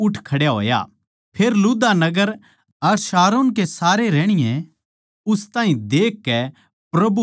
फेर लुद्दा नगर अर शारोन के सारे रहणीये उस ताहीं देखकै प्रभु की ओड़ फिरे